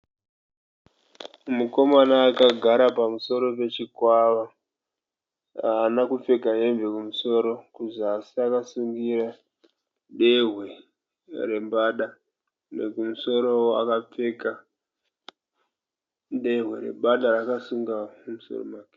Mukomana akagara pamusoro pachikwava. Haana kupfeka hembe kumusoro. Kuzasi akasungira dehwe rembada. Kumusorowo akapfeka dehwe rembada raakasunga mumusoro make.